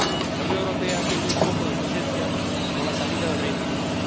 La Unión Europea pierde un poco de su esencia con la salida del Reino Unido.